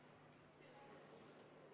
Meie järjekordne vaheaeg on läbi saanud.